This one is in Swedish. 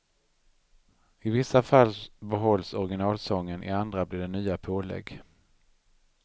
I vissa fall behålls originalsången, i andra blir det nya pålägg.